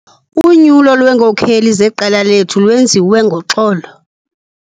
Unyulo lweenkokeli zeqela lethu lwenziwe ngoxolo.